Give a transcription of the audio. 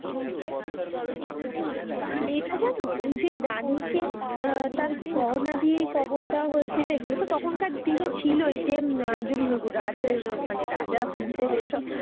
ও আচ্ছা আচ্ছা, আর ইটা যেন ওই যে রানী কে আহ তার গহনা দিয়েই কবর দেয়া হয়েছিল এগুলো তো তখন কার দিনে ছিলই যে রাজা রাজা প্রিন্সেস এই সব,